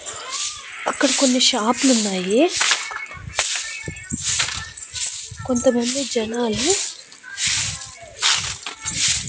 అక్కడ కొన్ని షాప్ లున్నాయి కొంత మంది జనాలు.